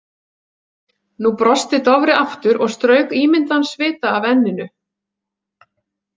Nú brosti Dofri aftur og strauk ímyndaðan svita af enninu.